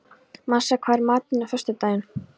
Marsa, hvað er í matinn á föstudaginn?